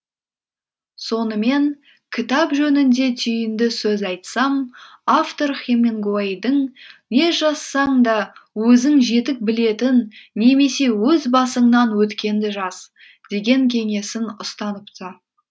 сонымен кітап жөнінде түйінді сөз айтсам автор хемингуэйдің не жазсаң да өзің жетік білетін немесе өз басыңнан өткенді жаз деген кеңесін ұстаныпты